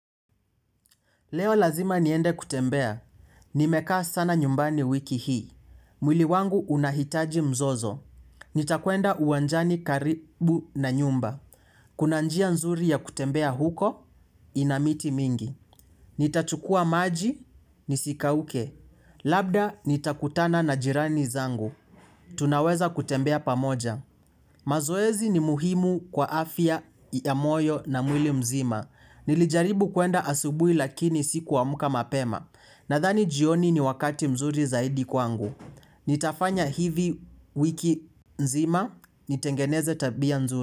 Leo lazima niende kutembea. Nimekaa sana nyumbani wiki hii. Mwili wangu unahitaji mzozo. Nitakwenda uwanjani karibu na nyumba. Kuna njia nzuri ya kutembea huko, ina miti mingi. Nitachukua maji, nisikauke. Labda nitakutana na jirani zangu. Tunaweza kutembea pamoja. Mazoezi ni muhimu kwa afya ya moyo na mwili mzima. Nilijaribu kuenda asubui lakini sikuamka mapema. Nahani jioni ni wakati mzuri zaidi kwangu. Nitafanya hivi wiki nzima. Nitengeneze tabia nzuri.